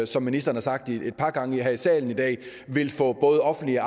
som ministeren har sagt et par gange her i salen i dag vil få både offentlige